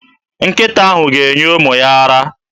Nkịta ahụ ga-enye ụmụ ya ara.